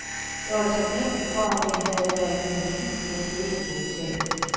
Jeg var taknemmelig for, at jeg havde ladet min flybillet ligge på hotellet.